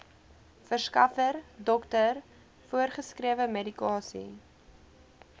verskaffer dokter voorgeskrewemedikasie